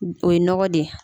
O ye nɔgɔ de ye